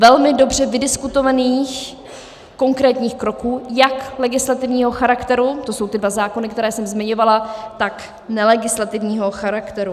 Velmi dobře vydiskutovaných konkrétních kroků jak legislativního charakteru - to jsou ty dva zákony, které jsem zmiňovala -, tak nelegislativního charakteru.